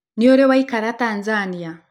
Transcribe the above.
Nìũrì waìkara Tanzania